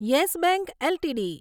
yes Bank LTD